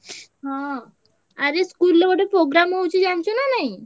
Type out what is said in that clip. ହଁ ଆରେ school ରେ ଗୋଟେ programme ହଉଛି ଜାଣିଚୁ ନା ନାଇଁ?